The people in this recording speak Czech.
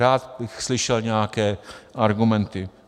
Rád bych slyšel nějaké argumenty.